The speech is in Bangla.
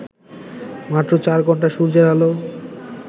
মাত্র চার ঘণ্টা সূর্যের আলো